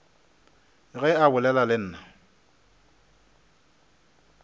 ge a bolela le nna